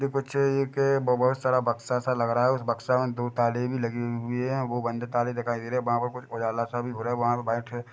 ये कुछ एक बो-बोहत सारा बक्सा सा लग रहा है। उस बक्से मा दो ताले भी लगे हुए है। वो बंद ताले दिखाई दे रहे है। वहाँ पे कुछ उजाला सा भी हो रहा वहाँ पे कुछ बैठे--